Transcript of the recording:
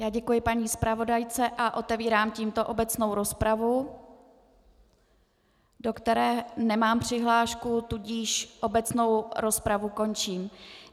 Já děkuji paní zpravodajce a otevírám tímto obecnou rozpravu, do které nemám přihlášku, tudíž obecnou rozpravu končím.